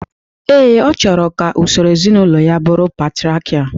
Ee, ọ chọrọ ka usoro ezinaụlọ ya bụrụ patriakial